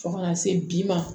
Fo kana se bi ma